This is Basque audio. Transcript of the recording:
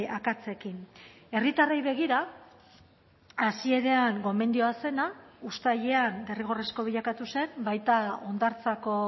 akatsekin herritarrei begira hasieran gomendioa zena uztailean derrigorrezko bilakatu zen baita hondartzako